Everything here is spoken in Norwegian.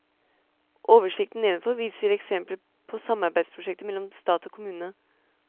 Oversikten nedenfor viser eksempler på samarbeidsprosjekter mellom stat og kommune.